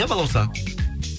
иә балауса